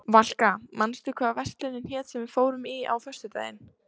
Valka, manstu hvað verslunin hét sem við fórum í á föstudaginn?